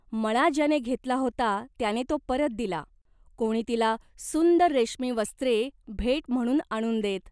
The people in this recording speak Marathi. मळा ज्याने घेतला होता त्याने तो परत दिला, कोणी तिला सुंदर रेशमी वस्त्रे भेट म्हणून आणून देत.